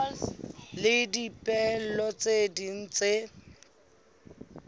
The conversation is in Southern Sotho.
le dipehelo tse ding tse